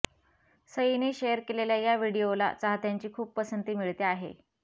सईने share केलेल्या या व्हिडीओला चाहत्यांची खूप पसंती मिळते आहे